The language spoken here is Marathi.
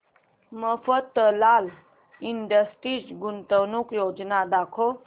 मफतलाल इंडस्ट्रीज गुंतवणूक योजना दाखव